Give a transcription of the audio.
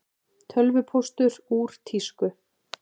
Tölvupóstur úr tísku